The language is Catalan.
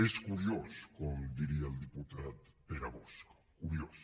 és curiós com diria el diputat pere bosch curiós